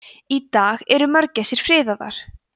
í dag eru mörgæsir friðaðar